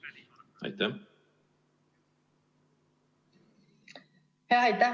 Aitäh!